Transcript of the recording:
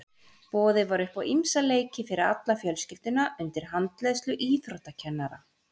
Boðið var upp á ýmsa leiki fyrir alla fjölskylduna undir handleiðslu íþróttakennara.